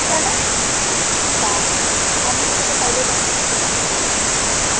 কেন? বাহ আমি তো তোকে পাইলে তখনই friend request পাঠায়ে দিতাম